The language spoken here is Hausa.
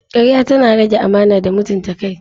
Karya tana rage amana da mutunta kai.